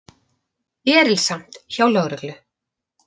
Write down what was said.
Erilsamt hjá lögreglu